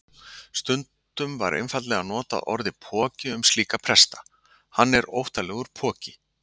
Stundum var einfaldlega notað orðið poki um slíka presta: Hann er óttalegur poki.